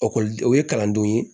o ye kalandenw ye